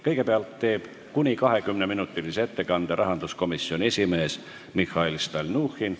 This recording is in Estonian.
Kõigepealt teeb kuni 20-minutilise ettekande rahanduskomisjoni esimees Mihhail Stalnuhhin.